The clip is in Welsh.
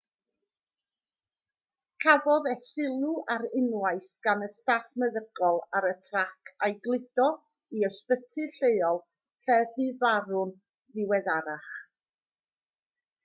cafodd e sylw ar unwaith gan y staff meddygol ar y trac a'i gludo i ysbyty lleol lle bu farw'n ddiweddarach